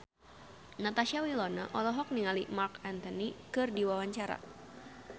Natasha Wilona olohok ningali Marc Anthony keur diwawancara